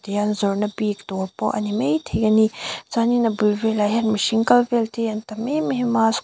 te an zawrhna bik dawr pawh ani maithei ani chuanin a bul velah hian mihring kal vel te an tam emem a--